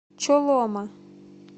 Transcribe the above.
чолома